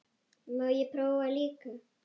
Má ég prófa líka!